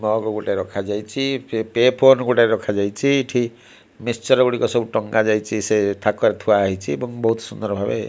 mug ଗୋଟେ ରଖାଯାଇଚି ପେ ଫୋନ ଗୋଟେ ରଖାଯାଇଚି ଏଠି ମିକ୍ସଚର ଗୁଡିକ ସବୁ ଟଙ୍ଗା ଯାଇଚି ସେ ଥାକରେ ଥୁଆ ହେଇଚି ଏବଂ ବହୁତ ସୁନ୍ଦର ଭାବେ --